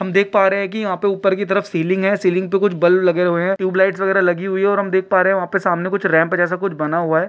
हम देख पा रहे है यहा पे ऊपर की तरफ सीलिंग है सीलिंग पे कुछ बल्ब लगे हुए है टूयब लाईट वगेरा लगी हुई है और हम देख पा रहे है वहां पे सामने कुछ रैंप जैसा कुछ बना हुआ है।